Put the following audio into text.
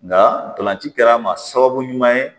Nga ntolanci kɛra n ma sababu ɲuman ye